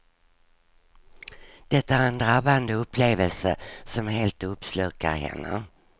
Det är en drabbande upplevelse som helt uppslukar henne.